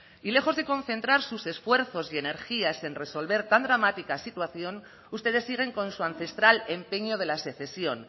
y lejos de concentrar sus esfuerzos y energías en resolver tan dramática situación ustedes siguen con su ancestral empeño de la secesión